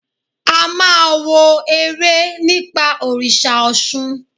A máa wo eré nípa òrìṣà Ọ̀ṣun.